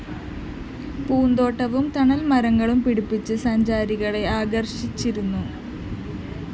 പൂന്തോട്ടവും തണല്‍മരങ്ങളും പിടിപ്പിച്ച് സഞ്ചാരികളെ ആകര്‍ഷിച്ചിരുന്നു